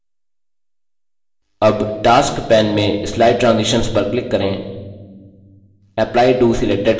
अब task pane में slide transitions पर click करें